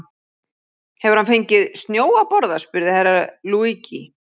Hefur hann fengið snjó að borða spurði Herra Luigi.